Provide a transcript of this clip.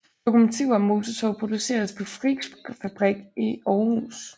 Lokomotiver og motortog produceres på Frichsfabrik i Aarhus